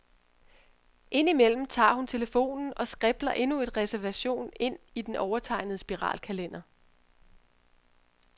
Ind imellem tager hun telefonen og skribler endnu en reservation ind i den overtegnede spiralkalender.